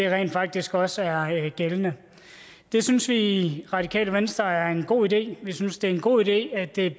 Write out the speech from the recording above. rent faktisk også er gældende det synes vi i radikale venstre er en god idé vi synes at det er en god idé at det